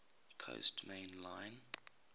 coast main line